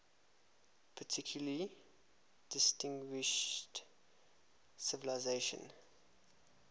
particularly distinguished civilization